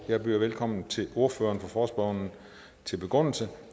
jeg byder velkommen til ordføreren for forespørgerne til begrundelse